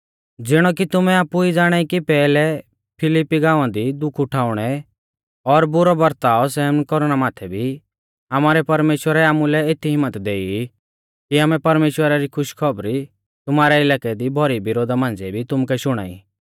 ज़िणौ कि तुमै आपु ई ज़ाणाई कि पैहलै फिलिप्पी गांवा दी दुख उठाउणै और बुरौ बरताव सहन कौरना माथै भी आमारै परमेश्‍वरै आमुलै एती हिम्मत देई कि आमै परमेश्‍वरा री खुशखौबरी तुमारै इलाकै दी भौरी विरोधा मांझ़िऐ भी तुमुकै शुणाई